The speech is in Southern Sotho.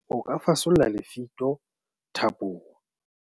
o ka fasolla lefito thapong